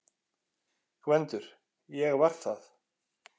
GVENDUR: Ég var það!